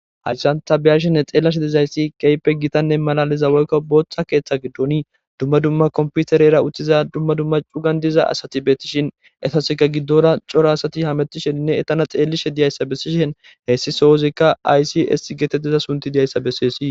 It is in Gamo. Haysan ta beyashenne xelashe dizaysi keehippe malaliza woyko Bootha keetha giddoni dumma dumma computerera uttiza dumma dumma cugani diza asati betishni etasika giddora cora asati hametishenne etana xelishe dizaysa besishni heysi sooszika ics giza sunthiy dizaysa besesi.